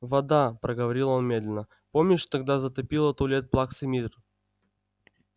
вода проговорил он медленно помнишь тогда затопило туалет плаксы миртл